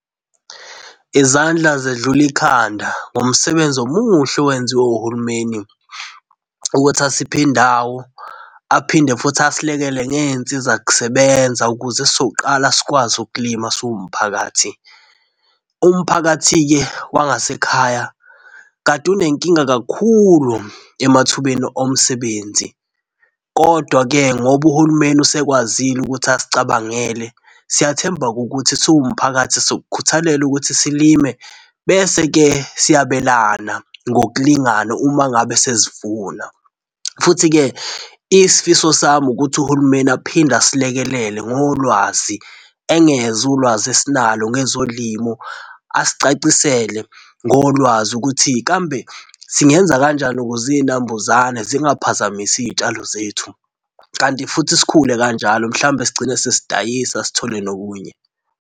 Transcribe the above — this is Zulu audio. Izandla zedlula ikhanda ngomsebenzi omuhle owenziwe uhulumeni ukuthi asiphe indawo aphinde futhi asilekele ngezinsizakusebenza ukuze sizoqala sikwazi ukulima siwumphakathi. Umphakathi-ke wangasekhaya kade unenkinga kakhulu emathubeni omsebenzi. Kodwa-ke ngoba uhulumeni usekwazile ukuthi asicabangele, siyathemba-ke ukuthi siwumphakathi sokukhuthalela ukuthi silime, bese-ke siyabelana ngokulingana uma ngabe sesivuna. Futhi-ke isifiso sami ukuthi uhulumeni aphinde asilekelele ngolwazi, engeze ulwazi esinalo ngezolimo. Asicacisele ngolwazi ukuthi kambe singenza kanjani ukuze izinambuzane zingaphazamisi izitshalo zethu kanti futhi sikhule kanjalo. Mhlawumbe sigcine sesidayisa, sithole nokunye.